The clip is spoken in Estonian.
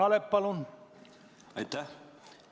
Aitäh!